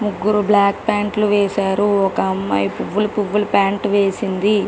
ముగ్గురు black colour ప్యాంట్లు వేశారు ఒక అమ్మాయి పువ్వులు పువ్వులు ప్యాంటు వేసింది.